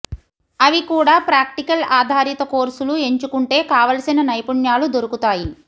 అవి కూడా ప్రాక్టికల్ ఆధారిత కోర్సులు ఎంచుకుంటే కావలసిన నైపుణ్యాలు దొరుకుతాయి